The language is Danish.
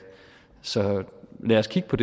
så lad os kigge på